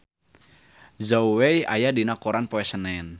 Zhao Wei aya dina koran poe Senen